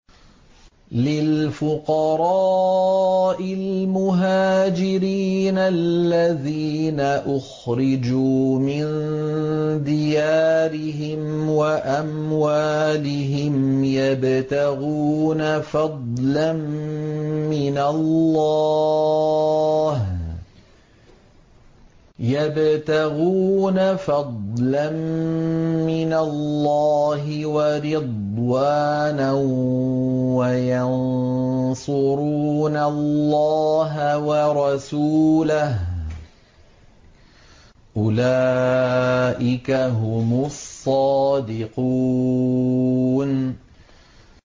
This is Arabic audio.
لِلْفُقَرَاءِ الْمُهَاجِرِينَ الَّذِينَ أُخْرِجُوا مِن دِيَارِهِمْ وَأَمْوَالِهِمْ يَبْتَغُونَ فَضْلًا مِّنَ اللَّهِ وَرِضْوَانًا وَيَنصُرُونَ اللَّهَ وَرَسُولَهُ ۚ أُولَٰئِكَ هُمُ الصَّادِقُونَ